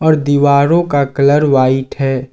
दीवारों का colour white है।